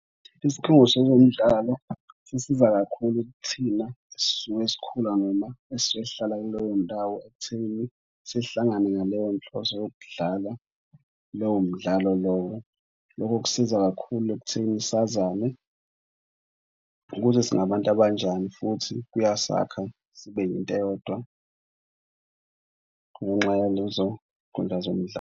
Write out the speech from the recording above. Isikhungo sezemidlalo sisiza kakhulu kuthina esisuke sikhula noma esisuke sihlala kuleyo ndawo ekuthenini sihlangane ngaleyo nhloso yokudlalwa lowo mdlalo lowo. Lokho kusiza kakhulu ekutheni sazane ukuthi singabantu abanjani futhi kuyasakha sibe into eyodwa ngenxa yenzuzo zomdlalo.